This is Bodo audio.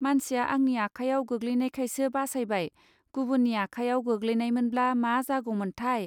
मानसिया आंनि आखायाव गोग्लैनायखायसो बासायबाय गुबुननि आखायाव गोग्लैनायमोनब्ला मा जागौमोनथाय!.